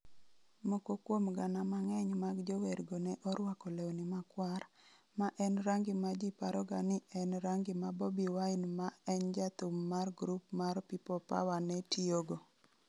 Moko kuom gana mang'eny mag jowergo ne orwako lewni makwar, ma en rangi ma ji paroga ni en rangi ma Bobi Wine ma en jathum mar grup mar People Power ne tiyogo.